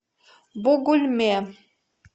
бугульме